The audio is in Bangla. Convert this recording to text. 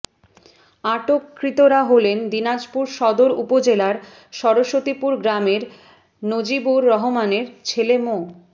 আটককৃতরা হলেন দিনাজপুর সদর উপজেলার সরস্বতিপুর গ্রামের নজিবুর রহমানের ছেলে মো